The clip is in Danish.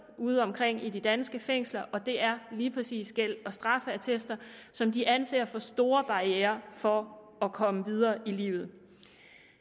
udeomkring i de danske fængsler og det er lige præcis gæld og straffeattester som de anser for store barrierer for at komme videre i livet